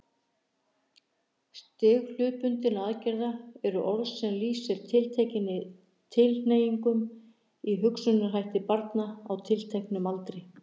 Stig hlutbundinna aðgerða er orð sem lýsir tilteknum tilhneigingum í hugsunarhætti barna á tilteknum aldri.